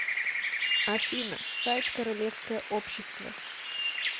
афина сайт королевское общество